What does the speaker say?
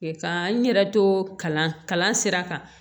Ka n yɛrɛ to kalan sira kan